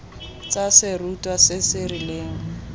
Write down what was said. tsa serutwa se se rileng